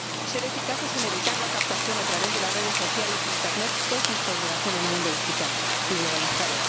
Ser eficaces en evitar la captación, a través de las redes sociales e internet, es nuestra obligación en un mundo digital y globalizado.